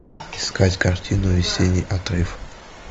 искать картину весенний отрыв